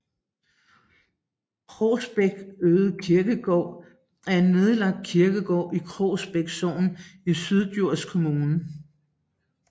Krogsbæk Ødekirkegård er en nedlagt kirkegård i Krogsbæk Sogn i Syddjurs Kommune